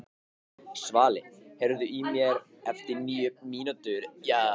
Svali, heyrðu í mér eftir níu mínútur.